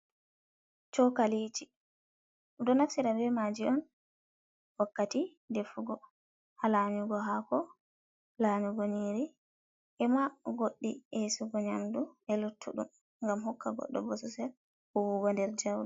Cokaliji ɓeɗo naftira ɓe maji on wakkati ɗefugo ha layugo hako, layugo nyiri ema godɗi e'sugo nyamdu e luttuɗum, gam hokka godɗo bo sosel huwugo nder jauɗom.